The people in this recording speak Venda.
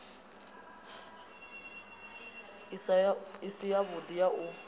i si yavhudi ya u